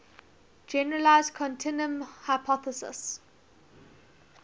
generalized continuum hypothesis